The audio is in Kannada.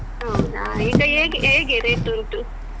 ಹೌದಾ ಈಗ ಹೇಗೆ ಹೇಗೆ rate ಉಂಟು?